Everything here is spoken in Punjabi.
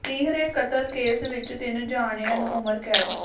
ਤੀਹਰੇ ਕਤਲ ਕੇਸ ਵਿੱਚ ਤਿੰਨ ਜਣਿਆਂ ਨੂੰ ਉਮਰ ਕੈਦ